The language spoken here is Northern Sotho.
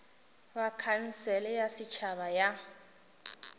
ba khansele ya setšhaba ya